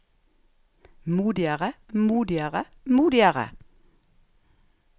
modigere modigere modigere